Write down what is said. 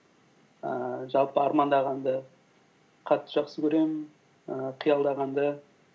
ііі жалпы армандағанды қатты жақсы көремін ііі қиялдағанды